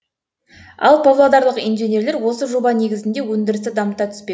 ал павлодарлық инженерлер осы жоба негізінде өнідірісті дамыта түспек